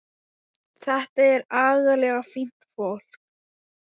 Þetta er agalega fínt fólk.